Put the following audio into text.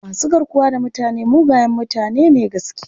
Masu garkuwa da mutane mugaye mutane ne gaskiya..